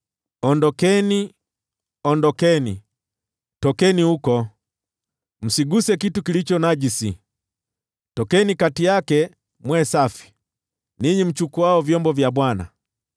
Ondokeni, ondokeni, tokeni huko! Msiguse kitu chochote kilicho najisi! Tokeni kati yake mwe safi, ninyi mchukuao vyombo vya Bwana .